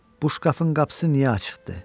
Bu şkafın qapısı niyə açıqdır?